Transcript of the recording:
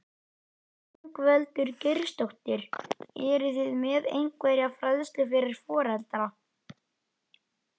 Ingveldur Geirsdóttir: Eruð þið með einhverja fræðslu fyrir foreldra?